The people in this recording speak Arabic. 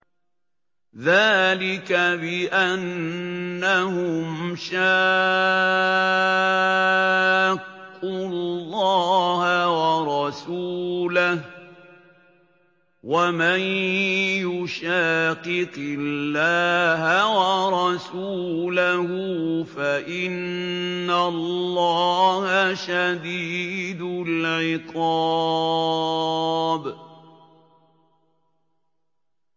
ذَٰلِكَ بِأَنَّهُمْ شَاقُّوا اللَّهَ وَرَسُولَهُ ۚ وَمَن يُشَاقِقِ اللَّهَ وَرَسُولَهُ فَإِنَّ اللَّهَ شَدِيدُ الْعِقَابِ